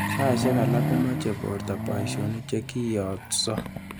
Saishek alak komeche borto boisiyonik chekiyotsot.